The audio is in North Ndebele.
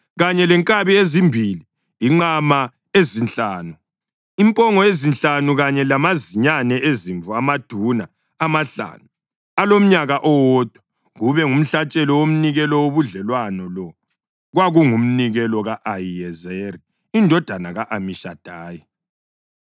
kanye lenkabi ezimbili, inqama ezinhlanu, impongo ezinhlanu kanye lamazinyane ezimvu amaduna amahlanu alomnyaka owodwa, kube ngumhlatshelo womnikelo wobudlelwano. Lo kwakungumnikelo ka-Ahiyezeri indodana ka-Amishadayi.